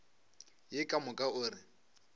ye ka moka o re